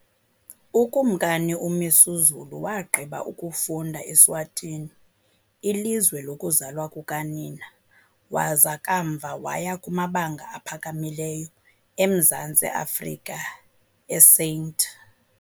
UKumkani uMisuzulu wagqiba ukufunda eSwatini, ilizwe lokuzalwa kukanina, waza kamva waya kumabanga aphakamileyo eMzantsi Afrika, eSt .